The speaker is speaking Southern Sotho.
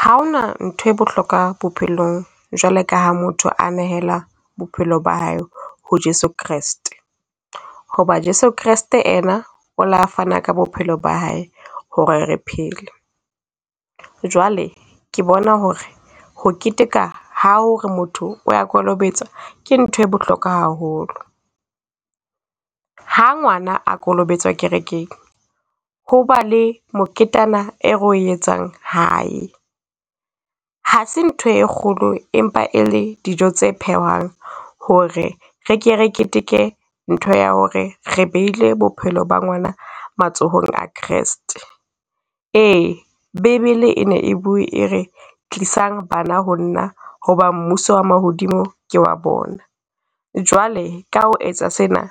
Ha hona nthwe bohlokwa bophelong jwale ka ha motho a nehela bophelo ba hae ho Jeso Kreste. Ho ba Jeso Kreste ena o la fana ka bophelo ba hae ho re re phele. Jwale ke bona ho re ho keteka ha hore motho o ya kolobetswa, ke nthwe bohlokwa haholo. Ha ngwana a kolobetswa kerekeng, ho ba le moketana e re o etsang hae. Ha se nthwe e kgolo empa e le dijo tse phehwang ho re re ke re keteke ntho ya ho re re behile bophelo ba ngwana matsohong a Kreste. Ee! Bebele e ne e bue e re, tlisang bana ho nna ho ba mmuso wa mahodimo ke wa bona. Jwale ka ho etsa sena,